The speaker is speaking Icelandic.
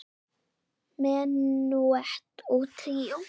Menúett og tríó